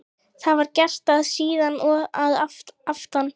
Það var gert og síðan að aftan.